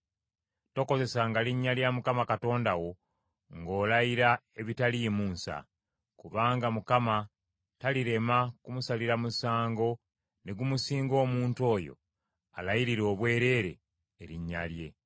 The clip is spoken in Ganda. Tokozesanga linnya lya Mukama Katonda wo ng’olayira ebitaliimu nsa; kubanga Mukama talirema kumusalira musango ne gumusinga omuntu oyo alayirira obwereere erinnya lye.